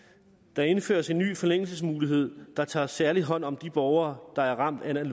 der indføres en ny forlængelsesmulighed der tager særlig hånd om de borgere der er ramt af